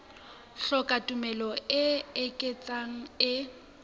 hloka tumello e ikgethang e